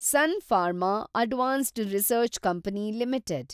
sun Pharma advanced research company limited